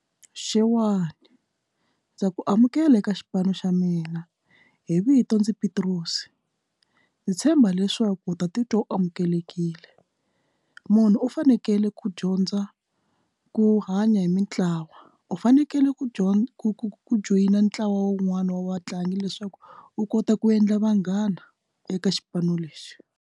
Xewani ndza ku amukela eka xipano xa mina hi vito ndzi Petros se ndzi tshemba leswaku u ta titwa u amukelekile munhu u fanekele yela ku dyondza ku hanya hi mintlawa u fanekele ku dyondza ku joyina ntlawa wun'wani wa vatlangi leswaku u kota ku endla vanghana eka xipano lexi.